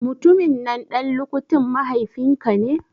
Mutumin nan ɗan lukutin mahaifin ka ne?